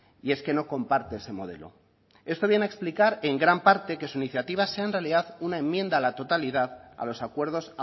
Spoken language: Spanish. y es que no comparte ese modelo esto viene a explicar en gran parte que su iniciativa sea en realidad una enmienda a la totalidad a los acuerdos